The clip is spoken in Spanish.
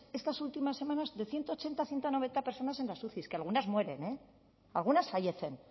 estas últimas semanas de ciento ochenta ciento noventa personas en las uci que algunas mueren eh algunas fallecen